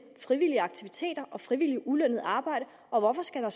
frivillige aktiviteter og frivilligt ulønnet arbejde og hvorfor skal der